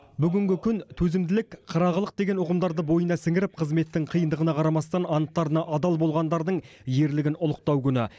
бүгінгі күн төзімділік қырағылық деген ұғымдарды бойына сіңіріп қызметтің қиындығына қарамастан анттарына адал болғандардың ерлігін ұлықтау күні